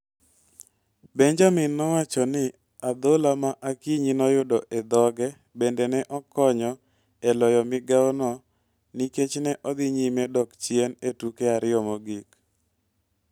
Benjamin nowacho ni adhola ma Akinyi noyudo e dhoge bende ne okonyo e loyo migawono nikech ne odhi nyime dok chien e tuke ariyo mogik.